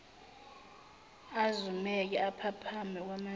azumeke aphaphame kwamabili